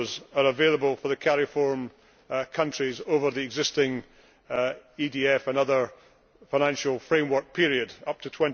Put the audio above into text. are available for the Cariforum countries over the existing EDF and other financial framework periods up